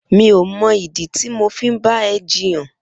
Mi ó mọ idi ti mó fi n bà ẹ̀ jiyàn